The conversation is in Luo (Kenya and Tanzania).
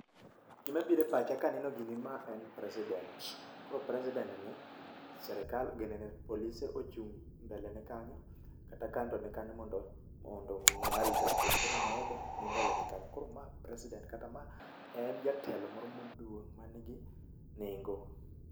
Gima biro e pacha kaneneo gini ma en president koro president ni, sirkal ginenee, polise ochung' mbelene kanyo, kata kando ne kenyo, mondo omiye arita kwee, koro moro be ni mbelene kanyo , koro ma president kata ma en jatelo moro maduong' manigi nengo.